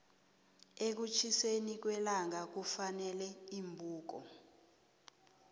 ekutjhiseni kwellangakufuneka iimbuko